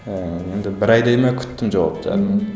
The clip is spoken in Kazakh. ііі енді бір айдай ма күттім жауаптарын